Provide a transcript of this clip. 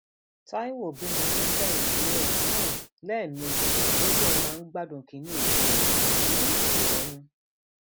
taiwo bímọ fún kẹhìndé ẹ um lẹẹmejì ó lóun máa ń gbádùn kínní èkejì um òun